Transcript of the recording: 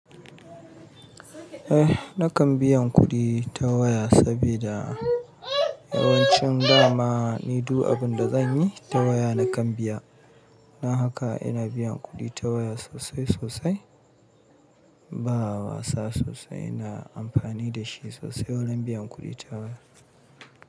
Eh nakan biyan kuɗi ta waya sabida yawancin dama ni du abun da zanyi ta waya nakan biya. Don haka ina biyan kuɗi ta waya sosai sosai. Ba wasa sosai ina amfani da shi sosai warin biyan kuɗi ta waya.